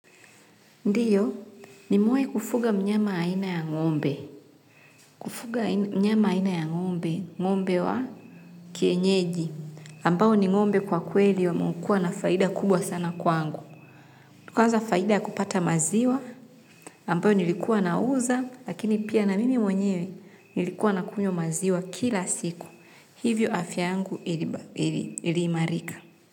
Ndiyo, nimewai kufuga mnyama aina ya ngombe. Kufuga mnyama aina ya ngombe, ngombe wa kienyeji. Ambao ni ngombe kwa kweli wamekua na faida kubwa sana kwangu. Kwanza faida ya kupata maziwa, ambao nilikuwa nauza, lakini pia na mimi mwenyewe nilikuwa na kunywa maziwa kila siku. Hivyo afya yangu iliimarika.